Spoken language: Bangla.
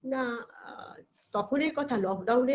না আ তখন এই কথা